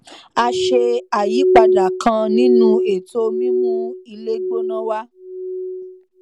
a ṣe àyípadà kan nínú ètò mímú ilé gbóná wa